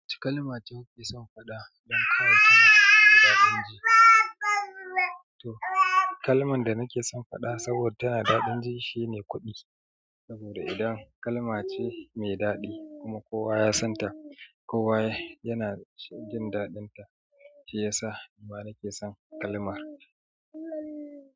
Wace kalma ce kuke son faɗa don kawo ta na da daɗin ji? To kalman da nake son faɗa saboda tana da daɗin ji shine "kuɗi" saboda idan kalma ce mai daɗi kuma kowa ya san ta, kowa yana jin daɗinta, shi ya sa ma nake son kalmar.